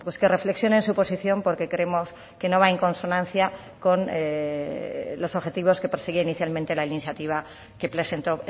que reflexionen su posición porque creemos que no va en consonancia con los objetivos que persigue inicialmente la iniciativa que presentó